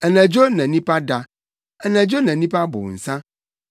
Anadwo na nnipa da. Anadwo na nnipa bow nsa.